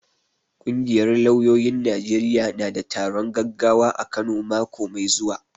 Ƙungiyar lauyoyin Najeriya na da taron gaggawa a Kano mako mai zuwa.